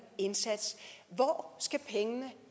indsats hvor skal pengene